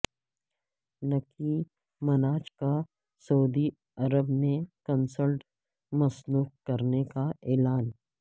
نکی Minaj کا سعودی عرب میں کنسرٹ منسوخ کرنے کا اعلان